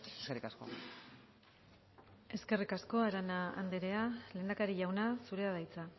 eskerrik asko eskerrik asko arana andrea lehendakari jauna zurea da hitza